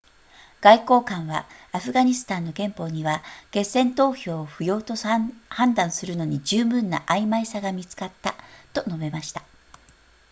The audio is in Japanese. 外交官はアフガニスタンの憲法には決戦投票を不要と判断するのに十分な曖昧さが見つかったと述べました